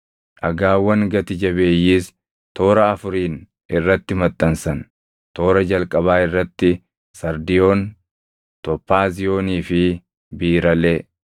Dhagaawwan gati jabeeyyiis toora afuriin irratti maxxansan. Toora jalqabaa irratti sardiyoon, tophaaziyoonii fi biiralee,